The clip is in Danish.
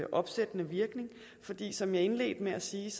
opsættende virkning fordi som jeg indledte med at sige